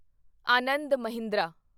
Anand Mahindra